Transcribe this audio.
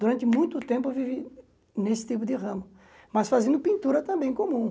Durante muito tempo eu vivi nesse tipo de ramo, mas fazendo pintura também, comum.